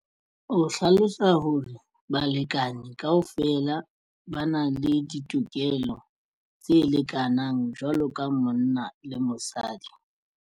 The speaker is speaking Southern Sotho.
O hlalosa hore balekane kaofela ba na le ditokelo tse lekanang jwalo ka monna le mosadi.